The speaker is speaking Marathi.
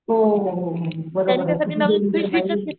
हो हो हो बरोबर किती डेंजर बाई,